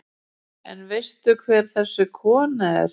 En veistu hver þessi kona er?